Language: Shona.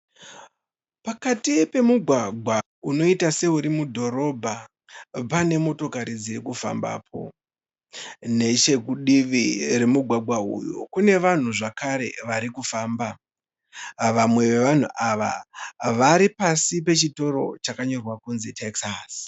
Pakati pemugwagwa unoita seuri mudhorobha pane motokari dziri kufambapo. Nechekudivi kwemugwagwa uyu kune vanhu zvakare vari kufamba. Vamwe vevanhu ava ari pasi pechitoro chakanyorwa kunzi Tekisasi.